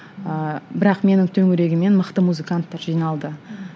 ыыы бірақ менің төңірегіме мықты музыканттар жиналды